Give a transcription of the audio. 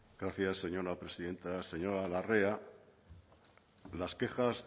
gracias señora presidenta señora larrea las quejas